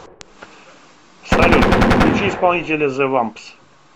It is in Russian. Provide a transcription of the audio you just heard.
салют включи исполнителя зэ вампс